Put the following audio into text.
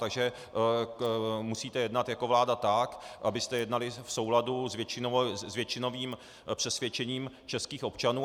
Takže musíte jednat jako vláda tak, abyste jednali v souladu s většinovým přesvědčením českých občanů.